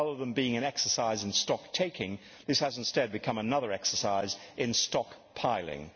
Rather than being an exercise in stocktaking this has instead become another exercise in stockpiling.